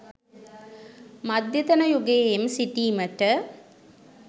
මධ්‍යතන යුගයේම සිටීමට